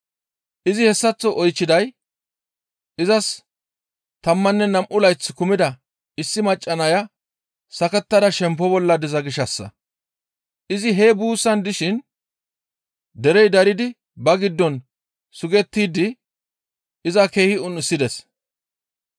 Izi hessaththo oychchiday izas tammanne nam7u layth kumida issi macca nay sakettada shempo bolla diza gishshassa. Izi hee buussan dishin derey daridi ba giddon sugettidi iza keehi un7isides.